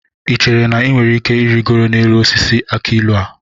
Ị chere na ị nwere ike irigoro n'elu osisi akị ilu a?